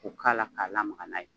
Ko k'a la k'a lamaga n'a ye.